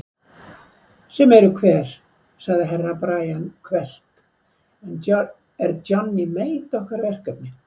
Sem eru hver sagði Herra Brian hvellt, er Johnny Mate okkar verkefni?